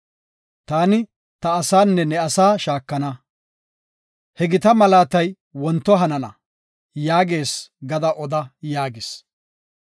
Taani, ta asaanne ne asaa shaakana; he gita malaatay wonto hanana’ yaagees gada oda” yaagis.